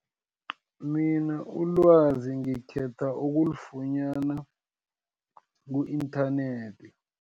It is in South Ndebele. Mina ilwazi ngikhetha ukulifunyana, ku-inthanethi.